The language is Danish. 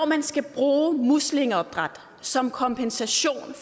man skal bruge muslingeopdræt som kompensation